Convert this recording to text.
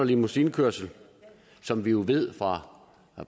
limousinekørsel som vi jo ved fra